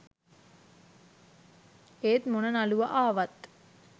ඒත් මොන නළුවා ආවත්